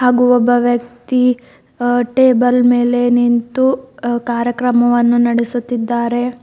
ಹಾಗು ಒಬ್ಬ ವ್ಯಕ್ತಿ ಅ ಟೇಬಲ್ ಮೇಲೆ ನಿಂತು ಕಾರ್ಯಕ್ರಮವನ್ನು ನಡೆಸುತ್ತಿದ್ದಾರೆ.